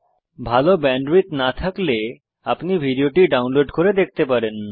ভালো ব্যান্ডউইডথ না থাকলে আপনি ভিডিওটি ডাউনলোড করে দেখতে পারেন